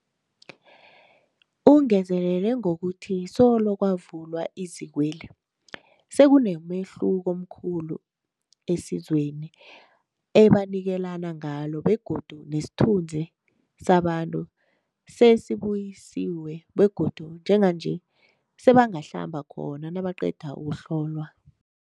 Ungezelele ngokuthi solo kwavulwa izikweli, sekunomehluko omkhulu esizweni ebanikelana ngalo begodu nesithunzi sabantu sesibuyisiwe begodu njenganje sebangahlamba khona nabaqeda ukuhlolwa.